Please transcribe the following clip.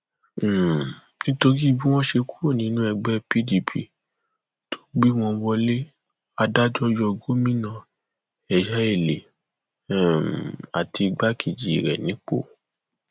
um nítorí bí wọn ṣe kúrò nínú ẹgbẹ pdp tó gbé wọn wọlé adájọ yọ gómìnà ẹyáẹlì um àti igbákejì rẹ nípò